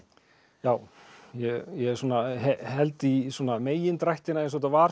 já ég ég svona held í megindrættina eins og þetta var